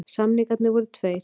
Samningarnir voru tveir